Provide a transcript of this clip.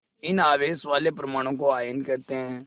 इन आवेश वाले परमाणुओं को आयन कहते हैं